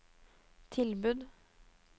tilbud